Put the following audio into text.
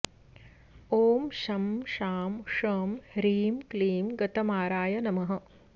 ॐ शं शां षं ह्रीं क्लीं गतमाराय नमः